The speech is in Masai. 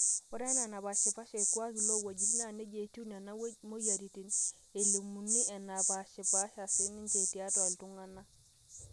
ore enaa enapaashipaashe irkuaaki loowuejitin naa neija etiu nena mweyiaritin elimuni epaashipaasha siininje tiatwa iltung'anak